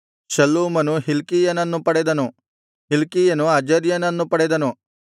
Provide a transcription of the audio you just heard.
ಶಲ್ಲೂಮನು ಹಿಲ್ಕೀಯನನ್ನು ಪಡೆದನು ಹಿಲ್ಕೀಯನು ಅಜರ್ಯನನ್ನು ಪಡೆದನು